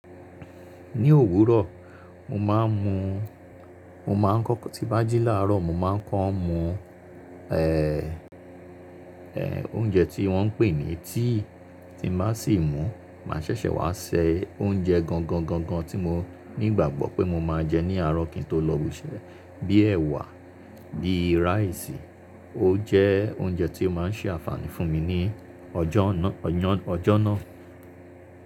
Ní òwúrọ̀, mo máa ń mu, mo máa ń kọ́ tí bá jí láàárọ̀, mo máa ń ko mu oúnjẹ tí wọ́n ń pè ní tea, tí mo bá sì mú, màá ṣẹ̀ṣẹ̀ wá ṣe oúnjẹ gangan gangan tí mo nígbàgbọ́ pé mo máa jẹ ní àárọ̀ kí n tó lọ ibi iṣẹ́ bíi ẹ̀wà, bíi ráìsì. Ó jẹ́ oúnjẹ tí ó máa ń ṣe àǹfààní fún mi ní ọjọ́ náà, ọyọ́n, ọjọ́ náà.